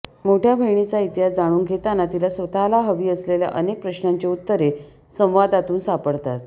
मोठ्या बहिणीचा इतिहास जाणून घेताना तिला स्वतःला हवी असलेल्या अनेक प्रश्नांची उत्तरे संवादातून सापडतात